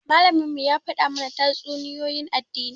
Malaminmu ya faɗa mana tatsuniyoyin addini.